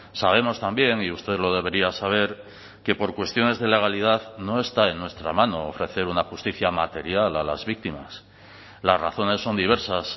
sabemos también y usted lo debería saber que por cuestiones de legalidad no está en nuestra mano ofrecer una justicia material a las víctimas las razones son diversas